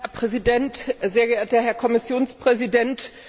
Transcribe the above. Herr Präsident! Sehr geehrter Herr Kommissionspräsident!